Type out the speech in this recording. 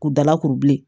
K'u dala kuru bilen